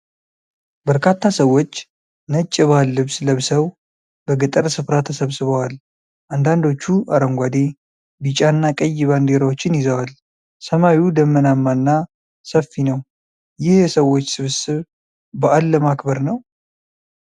በርካታ ሰዎች ነጭ የባህል ልብስ ለብሰው በገጠር ስፍራ ተሰብስበዋል። አንዳንዶቹ አረንጓዴ፣ ቢጫና ቀይ ባንዲራዎችን ይዘዋል። ሰማዩ ደመናማና ሰፊ ነው። ይህ የሰዎች ስብስብ በዓል ለማክበር ነው?